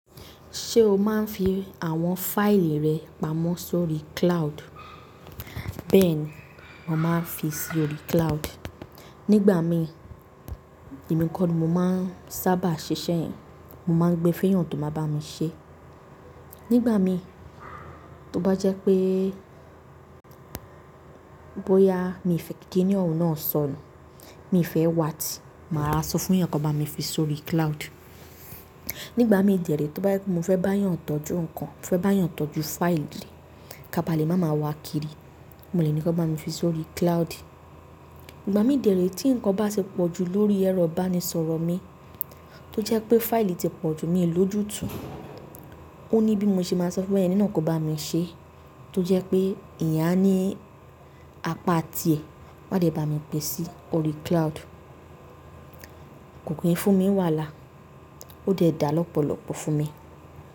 Ṣé o máa ń fi àwọn fáìlì rẹ pamọ́ sórí cloud? Bẹ́ẹ̀ ni, mo máa ń fi sórí cloud. Nígbà mí, èmi kọ́ ni mo máa ń sábà ṣiṣẹ́ yẹn. Mo máa ń gbé fún èèyàn tó máa bá mi ṣe. Nígbà mi, tó bá jẹ́ pé bóyá mi fẹ́ kí kiní ọ̀hun náà sọnù, mi fẹ́ wá ti, màá rora sọ fún èèyàn kó bá mi fi sórí cloud. Nígbà mi dèré tó bá jẹ́ mo fẹ́ bá èèyàn tọ́jú nǹkan, fẹ́ bá èèyàn tọ́jú fáìlì ká ba lè máa ma wà kiri, mo lè ní kó bá mi fi sórí cloud. Ìgbà mi dèré tí nǹkan bá ti pọ̀jù lórí ẹ̀rọ ìbánisọ̀rọ̀ mi, tó jẹ́ pé fáìlì ti pọ̀jù mi ò ló jù tú, ó ní bí mo ṣe máa sọ fún ẹ nínà kó bá mi ṣe. Tó jẹ́ pé eeyán aní apá tiè, wàá dè bá mi gbè sí orí cloud. Koyin fún mi wà lá, ó dè dá lọ́pọ̀lọ́pọ̀ fún mi.